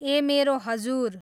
ए मेरो हजुर